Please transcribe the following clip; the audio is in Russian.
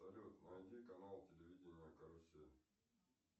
салют найди канал телевидения карусель